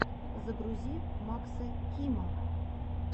загрузи макса кима